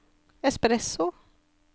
espresso